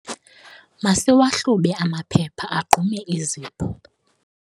masiwahlube amaphepha agqume izipho